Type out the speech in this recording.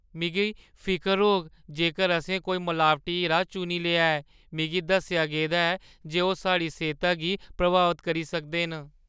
मिगी फिकर होग जेकर असें कोई मलावटी हीरा चुनी लेआ ऐ। मिगी दस्सेआ गेदा ऐ जे ओह् साढ़ी सेह्ता गी प्रभावत करी सकदे न।